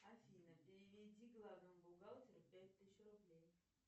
афина переведи главному бухгалтеру пять тысяч рублей